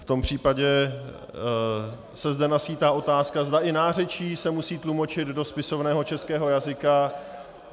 V tom případě se zde naskýtá otázka, zde i nářečí se musí tlumočit do spisovného českého jazyka.